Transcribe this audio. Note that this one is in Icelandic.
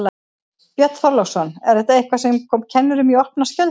Björn Þorláksson: Er þetta eitthvað sem kom kennurum í opna skjöldu?